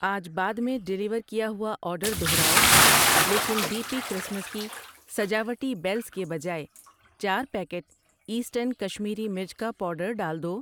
آج بعد میں ڈیلیور کیا ہوا آرڈر دوہراؤ لیکن ڈی پی کرسمس کی سجاوٹی بیلز کے بجائے چار پیکٹ ایسٹرن کشمیری مرچ کا پاؤڈر ڈال دو۔